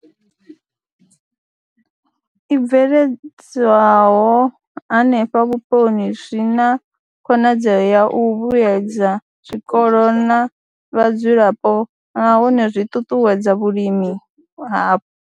I bveledzwaho henefho vhuponi zwi na khonadzeo ya u vhuedza zwikolo na vhadzulapo nahone zwi ṱuṱuwedza vhulimi hapo.